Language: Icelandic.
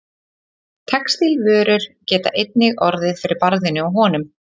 Textílvörur geta einnig orðið fyrir barðinu á honum.